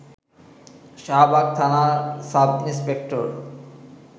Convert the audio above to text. শাহবাগ থানার sub inspector